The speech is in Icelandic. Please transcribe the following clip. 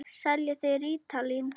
Seljið þið rítalín?